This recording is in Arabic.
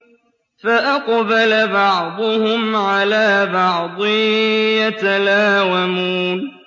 فَأَقْبَلَ بَعْضُهُمْ عَلَىٰ بَعْضٍ يَتَلَاوَمُونَ